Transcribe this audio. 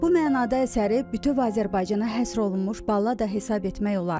Bu mənada əsəri bütöv Azərbaycana həsr olunmuş ballada hesab etmək olar.